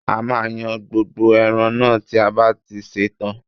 A máa yan gbogbo ẹran náà tí a bá ti ṣe tán